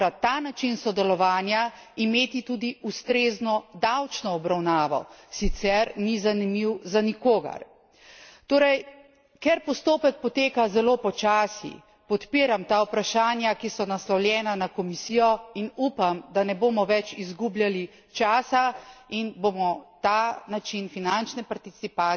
In na tretji strani ni bilo dovolj razumevanja, da mora ta način sodelovanja imeti tudi ustrezno davčno obravnavo, sicer ni zanimiv za nikogar. Torej, ker postopek poteka zelo počasi, podpiram ta vprašanja, ki so naslovljena na Komisijo, in upam, da ne bomo več izgubljali časa